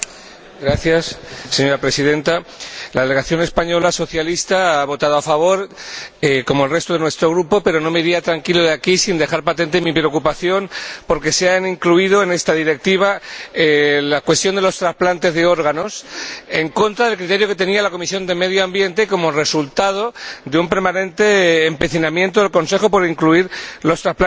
Señora Presidenta, la delegación española socialista ha votado a favor, como el resto de nuestro Grupo, pero no me iría tranquilo de aquí sin dejar patente mi preocupación por que se incluya en esta Directiva la cuestión de los transplantes de órganos, en contra del criterio que tenía la Comisión de Medio Ambiente y como resultado de un permanente empecinamiento del Consejo por incluir los transplantes en esta Directiva.